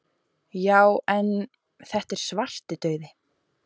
Já en. þetta er Svartidauði!